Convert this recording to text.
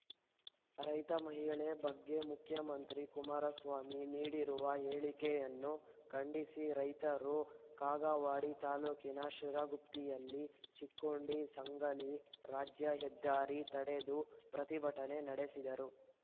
ರೈತ ಮಹಿಳೆ ಬಗ್ಗೆ ಮುಖ್ಯಮಂತ್ರಿ ಕುಮಾರಸ್ವಾಮಿ ನೀಡಿರುವ ಹೇಳಿಕೆಯನ್ನು ಖಂಡಿಸಿ ರೈತರು ಕಾಗವಾಡ ತಾಲೂಕಿನ ಶಿರಗುಪ್ಪಿಯಲ್ಲಿ ಚಿಕ್ಕೋಡಿಸಾಂಗಲಿ ರಾಜ್ಯ ಹೆದ್ದಾರಿ ತಡೆದು ಪ್ರತಿಭಟನೆ ನಡೆಸಿದರು